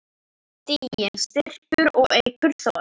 Stiginn styrkir og eykur þol.